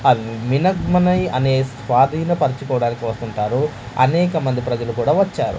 అన్ మినక్ మనై అనే స్వాధీన పరచుకోవడానికి వస్తుంటారు అనేక మంది ప్రజలు కూడా వచ్చారు.